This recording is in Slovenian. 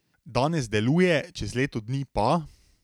Danes deluje, čez leto dni pa ...